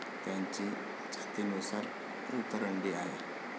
त्यांची जातीनुसार उतरंडी आहे.